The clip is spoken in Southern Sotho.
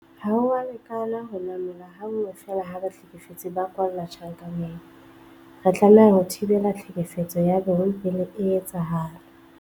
Ha ho a lekana ho namola ha nngwe feela ha bahlekefetsi ba kwalla tjhankaneng. Re tlameha ho thibela tlhekefetso ya bong pele e etsahala.